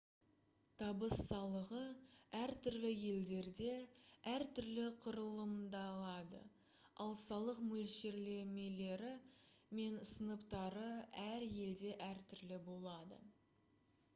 табыс салығы әртүрлі елдерде әр түрлі құрылымдалады ал салық мөлшерлемелері мен сыныптары әр елде әртүрлі болады